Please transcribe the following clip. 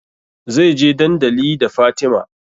Zai je dandali da Fatima